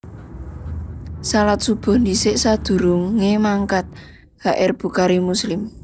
Shalat shubuh dhisik sadurungé mangkat H R Bukhari Muslim